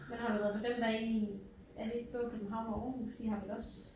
Men har du været på dem der i er det ikke både København og Aarhus de har vel også